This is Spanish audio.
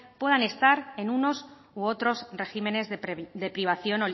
puedan estar en unos u otros regímenes de privación